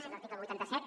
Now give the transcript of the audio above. és l’article vuitanta set